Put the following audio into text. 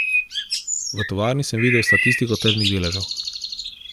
V tovarni sem videl statistiko tržnih deležev.